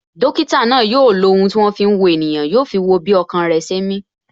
Dókítà náà yo lo ohun tí wọn fi ń wo ènìyàn, yo fi wo bí ọkàn rẹ ṣe ń mi